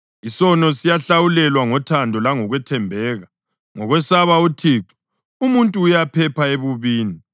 Isono siyahlawulelwa ngothando langokwethembeka; ngokwesaba uThixo umuntu uyaphepha ebubini.